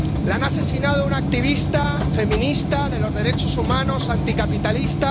Han asesinado a una activista, feminista, de los derechos humanos, anticapitalista